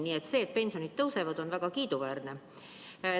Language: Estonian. Nii et see, et pensionid tõusevad, on väga kiiduväärne.